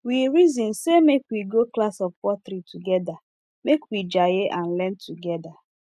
we reason sey make we go class of pottery togeda make we jaye and learn together